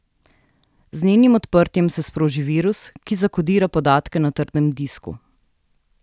Z njenim odprtjem se sproži virus, ki zakodira podatke na trdem disku.